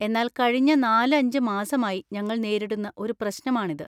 എന്നാൽ കഴിഞ്ഞ നാല് അഞ്ച്‌ മാസമായി ഞങ്ങൾ നേരിടുന്ന ഒരു പ്രശ്നമാണിത്.